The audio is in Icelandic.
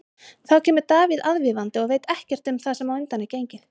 Þá kemur Davíð aðvífandi og veit ekkert um það sem á undan er gengið.